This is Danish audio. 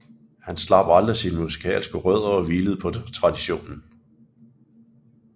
Han slap aldrig sine musikalske rødder og hvilede på traditionen